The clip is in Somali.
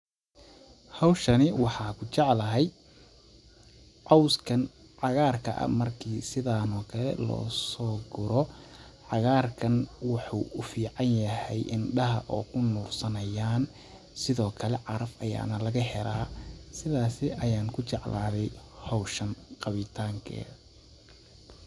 Hawshani waxaa kujeclahay cawskan cagaarka ah markii sidaan oo kale loo sooguro cagaarkan waxuu uficanyahay indhaha oo kunursanayaan sidokale caraf ayaana laga helaa sidaas ayaan kujecladay hawshani qabitankeeda.